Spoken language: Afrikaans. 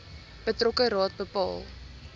betrokke raad bepaal